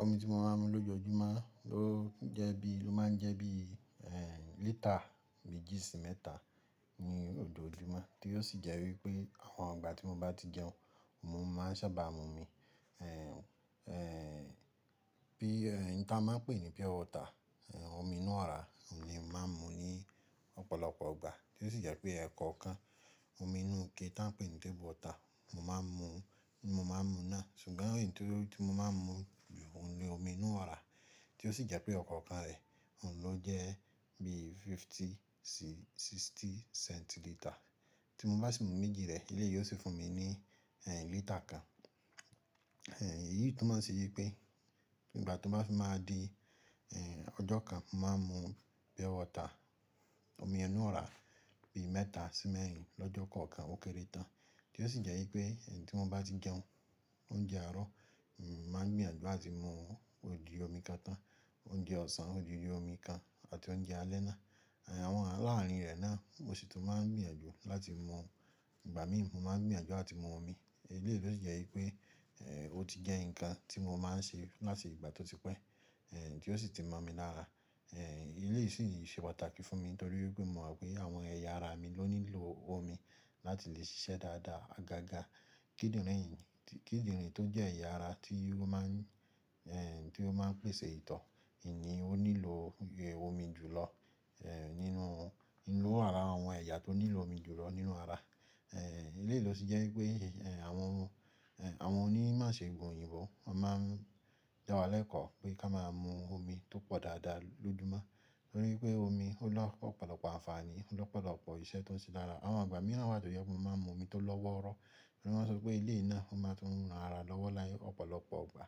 Omi tí mo máa ń mu lójoojúmọ́ o je bi-- ó máa ń jẹ́ bí lítà méjì sí mẹ́ta ni ojoojúmọ́, tí ó sì jẹ́ wípé àwọn ìgbà tí mo bá ti jẹun, mo máa ń sábà mu omi. Bí, n tí a máa ń pè ní pure water, omi inú ọ̀rá, òun ni mo máa ń mu ní ọ̀pọ̀lọpọ̀ ìgbà, tí ó sì jẹ́ pé ẹ̀ekọ̀ọ̀kan, omi inú ike tí a n pè ní table water, mo máa ń mu ni mo maa náà. Ṣùgbọ́n èyí tí mo máa ń mu, òun ni omi inú ọ̀rá, tí ó sì jẹ́ pé ọ̀kọ̀ọ̀kan rẹ̀, òun ló jẹ́ bí fifty sí sixty centiliter. Tí mo bá sì mu méjì rẹ̀, eléyìí ó sì fún mi ní lítà kan. Èyí tó máa ń ṣe yí pé igbà tó bá fi máa di ọjọ́ kan, mo máa ń mu pure water, omi inú ọ̀rá, bí mẹ́ta sí mẹ́rin lọ́jọ́ kọ̀ọ̀kan ó kéré tán, tí ó sì jẹ́ wípé tí mo bá ti jẹun oúnjẹ àárọ̀, mo máa gbìyànjú láti mu ogi omi kan tán, oúnjẹ ọ̀sán odidi omi kan àti oúnjẹ alẹ́ náà. Àwọn laaárin re náà mo sì tún máa ń gbìyànjú láti mu, ìgbà mímu mo máa ń gbìyànjú á ti mu omi. Eléyìí tó sì jẹ́ wípé ó ti jẹ́ nǹkan tí mo máa ń ṣe láti ìgbà tí ó ti pẹ́, tí ó sì ti mọ̀ mi lára. Eléyìí sì ṣe pàtàkì fún mi nítorí wípé mo mọ̀ pé àwọn ẹ̀ya ara mi ló nílò omi láti lè ṣiṣẹ́ dáadáa, agaga kidinrin mi. Kíndìnrín tó jẹ́ ẹ̀ya ara tí ó máa ń pèsè ìtọ́, n ní, ó nílò omi jùlọ nínú, ninu ara àwọn ẹ̀yà tó nílò omi jùlọ nínú ara. Ilé yìí ló sì jẹ́ wípé àwọn onímọ̀ṣegun òyìnbó máa ń dá wa lẹ́kọ̀ọ́ pé ká máa mu omi tó pọ̀ dáadáa lójoojúmọ́ nítorí pé omi ó lọpọ̀lọpọ̀ àǹfààní, ó lọpọ̀lọpọ̀ iṣẹ́ tó ń ṣe lára. Àwọn igbà míìráń wá tó jẹ́ pé mo máa ń mu omi tó lọ́wọ́rọ́, tori wọ́n sọ pé eléyi náà wón máa fi n na ara lọ́wọ́ láyé ọ̀pọ̀lọpọ̀ ìgbà.